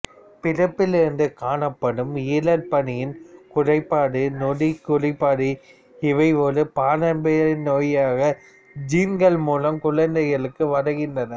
பிறப்பிலிருந்து காணப்படும் ஈரல் பணியின் குறைபாடு நொதிக் குறைபாடு இவை ஒரு பாரம்பரிய நோயாக ஜீன்கள் மூலம் குழந்தைகளுக்கு வருகின்றன